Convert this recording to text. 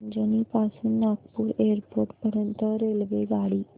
अजनी पासून नागपूर एअरपोर्ट पर्यंत रेल्वेगाडी